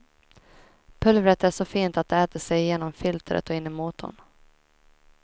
Pulvret är så fint att det äter sig igenom filtret och in i motorn.